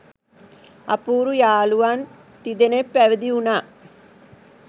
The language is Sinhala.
අපූරු යහළුවන් තිදෙනෙක් පැවිදි වුණා